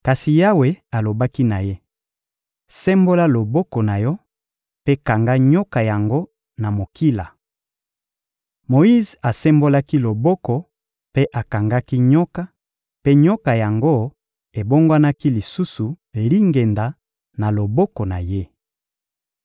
Kasi Yawe alobaki na ye: — Sembola loboko na yo mpe kanga nyoka yango na mokila! Moyize asembolaki loboko mpe akangaki nyoka; mpe nyoka yango ebongwanaki lisusu lingenda na loboko na ye.